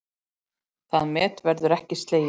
Það met verður ekki slegið.